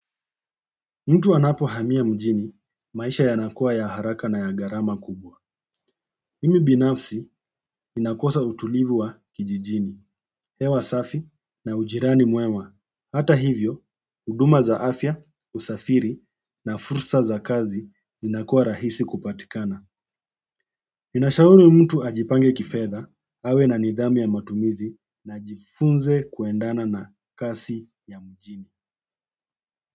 Mtu anapo hamia mjini, maisha yanakuwa ya haraka na ya gharama kubwa. Mimi binafsi, ninakosa utulivu wa kijijini, hewa safi na ujirani mwewa. Hata hivyo, huduma za afya, husafiri na fursa za kazi, zinakuwa rahisi kupatikana. Ninashauri mtu ajipange kifedha, awe na nidhamu ya matumizi, na ajifunze kuendana na kasi ya mjini.